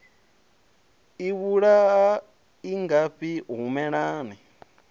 i vhulaha i ngafhi humelani